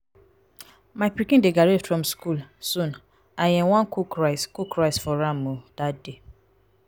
my pikin dey graduate from school sooni um wan cook rice cook rice for am um dat day.